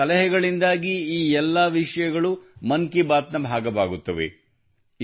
ನಿಮ್ಮ ಸಲಹೆಗಳಿಂದಾಗಿ ಈ ಎಲ್ಲಾ ವಿಷಯಗಳು ಮನ್ ಕಿ ಬಾತ್ ನ ಭಾಗವಾಗುತ್ತವೆ